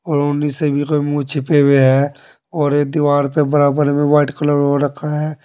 और ओढ़नी से मुंह छिपे हुए है और एक दीवार पर बराबर में वाइट कलर हो रखा है।